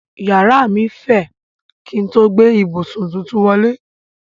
Yàrá mí fẹ̀ kín n tó gbé ìbùsùn tuntun wọlé.